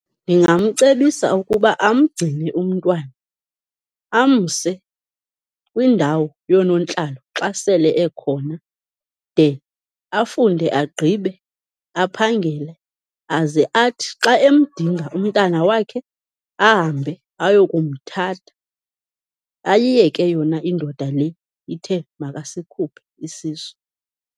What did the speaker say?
Ndingamcebisa ukuba amgcine umntwana, amse kwindawo yoonontlalo xa sele ekhona de afunde agqibe aphangele. Aze athi xa emdinga umntana wakhe, ahambe ayokumthatha, ayiyeke yona indoda le ithe makasikhuphe isisu.